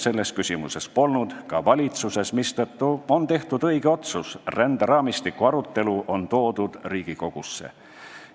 Selles küsimuses polnud konsensust ka valitsuses, mistõttu on tehtud õige otsus: ränderaamistiku arutelu on toodud Riigikogusse.